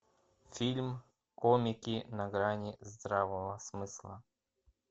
фильм комики на грани здравого смысла